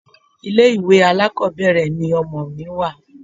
Ilé ìwé alákọ̀ọ́bẹ̀rẹ̀ ni ọmọ mi wà.